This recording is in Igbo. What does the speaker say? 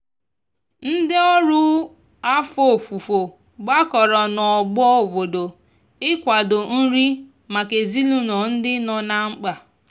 ndi ọrụ afọ ọfufo gbakọrọ na ogbo obodo ị kwado nri maka ezinulo ndi nọ na mkpa